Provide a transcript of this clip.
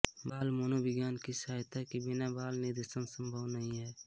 बाल मनोविज्ञान की सहायता के बिना बाल निर्देशन संभव नही है